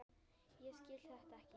Ég skil þetta ekki.